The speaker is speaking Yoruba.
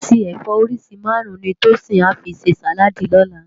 Esó ati ẹfọ óriṣi márùn ni Tosin à fi sé sáládì lòlá